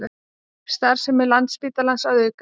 Starfsemi Landspítalans að aukast